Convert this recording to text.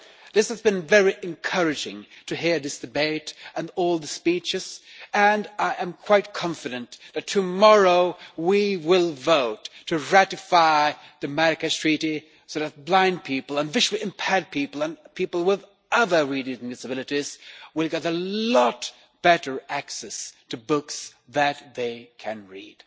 It has been very encouraging to hear this debate and all the speeches and I am quite confident that tomorrow we will vote to ratify the Marrakech Treaty so that blind people and visually impaired people and people with other reading disabilities will get a lot better access to books that they can read.